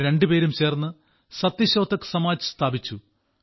അവർ രണ്ടുപേരും ചേർന്ന് സത്യശോധക് സമാജ് സ്ഥാപിച്ചു